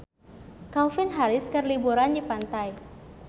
Calvin Harris keur liburan di pantai